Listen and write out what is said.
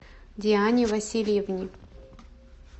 диане васильевне